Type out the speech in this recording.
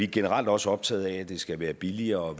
generelt også optaget af at det skal være billigere